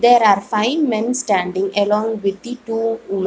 There are five men standing along with the two women.